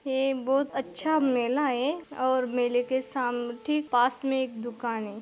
ये बहुत अच्छा मेला है और मेले के साम ठीक पास में एक दुकान है।